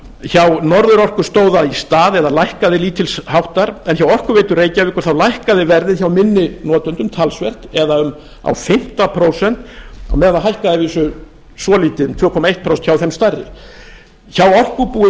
hjá norðurorku stóð það í stað eða lækkaði lítils háttar en hjá orkuveitu reykjavíkur þá lækkaði verðið hjá minni notendum talsvert eða á fimmta prósent meðan það hækkaði að vísu svolítið um tvö komma eitt prósent hjá þeim stærri hjá orkubúi